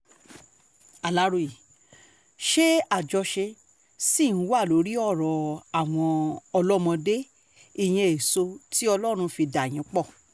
aláròye ṣé àjọṣe ṣì ń wà lórí ọ̀rọ̀ àwọn ọlọ́mọdé ìyẹn èso tí ọlọ́run fi dà yín pọ̀